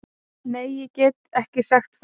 Nei, ég get ekki sagt frá því.